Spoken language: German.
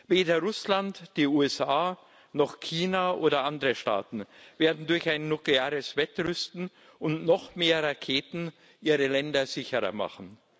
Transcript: Weder Russland, die USA, noch China oder andere Staaten werden durch ein nukleares Wettrüsten und noch mehr Raketen ihre Länder sicherer machen.